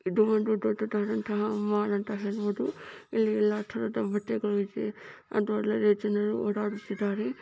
ಇದು ಒಂದು ದೊಡ್ಡದಾದಂತಹ ಮಾಲ್ ಅಂತಾ ಕರಿಬಹುದು ಇಲ್ಲಿ ಯಲ್ಲಾ ತರಹದ ಬಟ್ಟೆಗಳು ಇವೆ ಮತ್ತು ಒಳ್ಳೆ ಒಳ್ಳೆ ಜನರು ಓಡಾಡುತ್ತಿದ್ದಾರೆ.